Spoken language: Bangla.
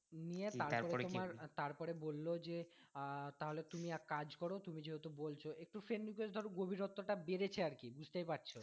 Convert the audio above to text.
নিয়ে তারপরে তোমার তারপরে বললো যে আহ তাহলে তুমি এক কাজ করো তুমি যেহুতু বলছো একটু friend request ধরো গভীরত্বটা বেড়েছে আর কি বুঝতেই পারছো।